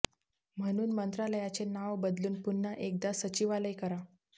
म्हणून मंत्रालयाचे नाव बदलवून पुन्हा एकदा सचिवालय करा